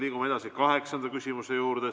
Liigume edasi kaheksanda küsimuse juurde.